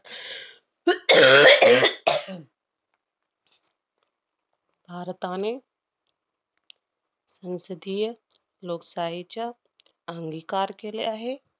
भारताने संसदीय लोकसाहेच्या अंगीकार केले आहे.